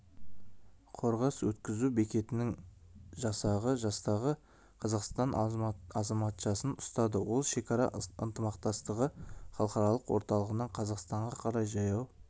қорғас өткізу бекетінің жасағы жастағы қазақстан азаматшасын ұстады ол шекара ынтымақтастығы халықаралық орталығынан қазақстанға қарай жаяу